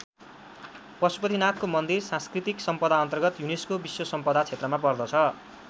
पशुपतिनाथको मन्दिर सांस्कृतिक सम्पदाअन्तर्गत युनेस्को विश्व सम्पदा क्षेत्रमा पर्दछ।